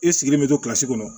I sigilen bɛ to kilasi kɔnɔ